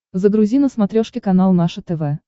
загрузи на смотрешке канал наше тв